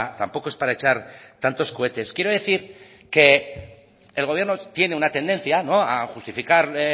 tampoco es para echar tantos cohetes quiero decir que el gobierno tiene una tendencia a justificar